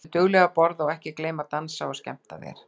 Vertu dugleg að borða og ekki gleyma að dansa og skemmta þér.